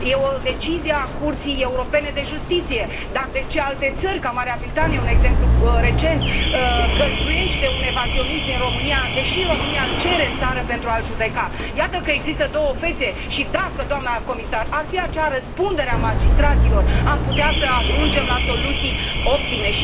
E o decizie a Curții de Justiție a Uniunii Europene, dar de ce alte țări, ca Marea Britanie, un exemplu recent, găzduiește un evazionist din România, deși România îl cere în țară pentru a l judeca. Iată că există două fețe și, doamnă comisar, dacă ar fi acea răspundere a magistraților, am putea să ajungem la soluții optime.